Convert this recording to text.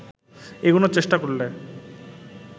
এগুনোর চেষ্টা করলে